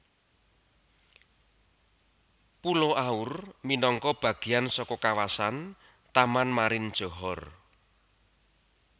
Pulo Aur minangka bagéan saka kawasan Taman Marin Johor